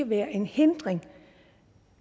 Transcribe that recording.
være en hindring